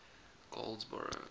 goldsboro